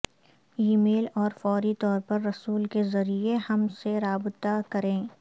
ای میل اور فوری طور پر رسول کے ذریعے ہم سے رابطہ کریں